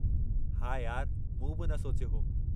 हा, यार मूं बि न सोचियो हो।